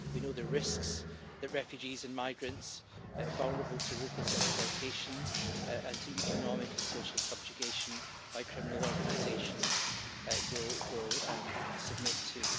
We know the risks that refugees and migrants, vulnerable to ruthless exploitation and to economic and social subjugation by criminal organisations, will submit to.